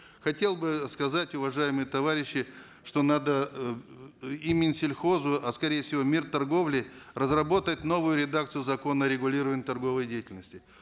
хотел бы сказать уважаемые товарищи что надо эээ и минсельхозу а скорее всего мин торговли разработать новую редакцию закона о регулировании торговой деятельности